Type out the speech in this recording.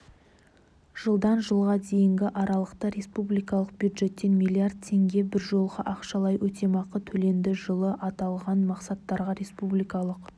жылдан жылға дейінгі аралықта республикалық бюджеттен млрд теңге біржолғы ақшалай өтемақы төленді жылы аталған мақсаттарға республикалық